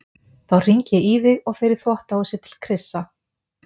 Þá hringi ég í þig og fer í þvottahúsið til Krissa.